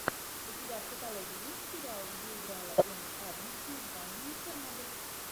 у тебя в каталоге есть сериал где играла эми адамс с названием чернобыль